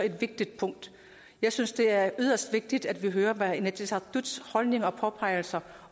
vigtigt punkt jeg synes det er yderst vigtigt at vi hører inatsisartuts holdning og påpegelser